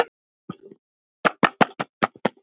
Staðan er óljós ennþá.